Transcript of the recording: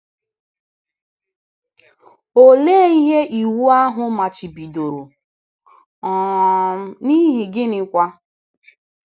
Olee ihe iwu ahụ machibidoro um, n’ihi gịnịkwa?